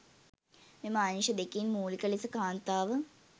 මෙම අංශ දෙකින් මූලික ලෙස කාන්තාව